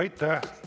Aitäh!